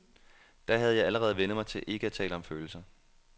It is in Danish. Da havde jeg allerede vænnet mig til ikke at tale om følelser.